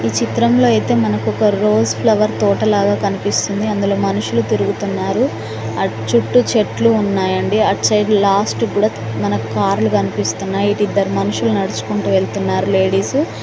ఈ చిత్రంలో అయితే మనకు ఒక రోజ్ ఫ్లవర్ తోటలాగా కనిపిస్తుంది. అందులో మనుషులు తిరుగుతున్నారు. ఆ చుట్టూ చెట్లు ఉన్నాయండి. అట్ సైడ్ లాస్ట్ కూడా మనకు కార్లు కనిపిస్తున్నాయి. ఇటు ఇద్దరు మనుషులు నడుచుకుంటూ వెళ్తున్నారు లేడీసు .